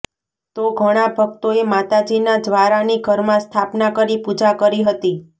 તો ઘણા ભક્તોએ માતાજીના જ્વારાની ઘરમાં સ્થાપના કરી પૂજા કરી હતી